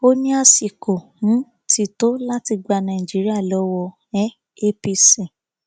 ó ní àsìkò um ti tó láti gba nàìjíríà lọwọ um apc